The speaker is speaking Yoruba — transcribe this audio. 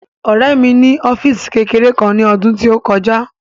Ọ̀rẹ́ mi ní ọ́físì kékeré ní ọdún tí ó kọjá